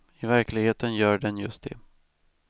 I verkligheten gör den just det.